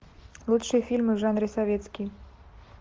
лучшие фильмы в жанре советский